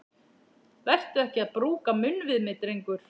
Vertu ekki að brúka munn við mig, drengur!